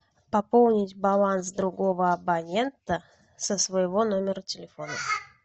пополнить баланс другого абонента со своего номера телефона